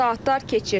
Saatlar keçir.